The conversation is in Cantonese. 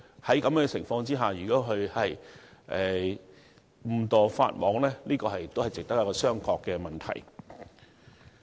在這種情況下，如果送遞公司誤陷法網，就是一個值得商榷的問題。